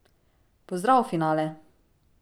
Pozdrav, finale!